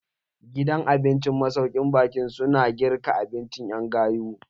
Gidan abincin masaukin baƙi su na girka abinci ƴan gayu.